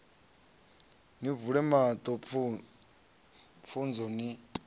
ni vule maṱo pfunzo ni